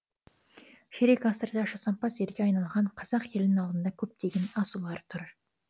ширек ғасырда жасампаз елге айналған қазақ елінің алдында көптеген асулар тұр